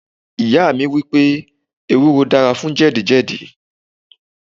Ìyá mi sọ wípé ewúro dára fún jẹ̀díjẹ̀dí.